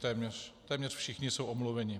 Téměř všichni jsou omluveni.